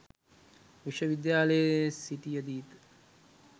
විශ්ව විද්‍යාලයේ සිටියදීත